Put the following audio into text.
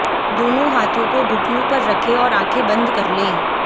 दोनों हाथों को घुटनों पर रखें और आंखें बंद कर लें